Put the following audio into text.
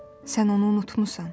Sən onu unutmusan.